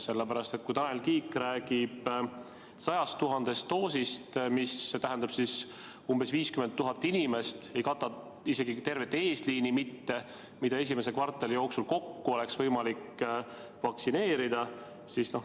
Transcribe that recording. Sest kui Tanel Kiik räägib 100 000 doosist, mis tähendab umbes 50 000 inimest, siis see inimeste arv, keda esimese kvartali jooksul oleks võimalik vaktsineerida, ei kata isegi tervet eesliini mitte.